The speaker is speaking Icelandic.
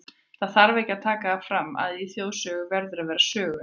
Það þarf ekki að taka það fram, að í þjóðsögu verður að vera söguefni.